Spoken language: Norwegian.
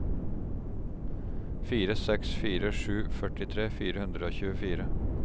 fire seks fire sju førtitre fire hundre og tjuefire